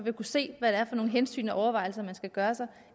kunne se hvad det er for nogle hensyn og overvejelser man skal gøre sig